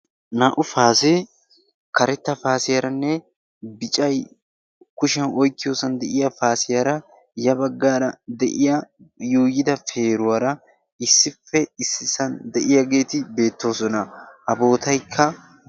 naa''u paasee karetta paasiyaaranne bicay kushiyan oikkiyoosan de'iya paasiyaara ya baggaara de'iya yuuyida peeruwaara issippe issisan de'iyaageeti beettoosona a bootaykka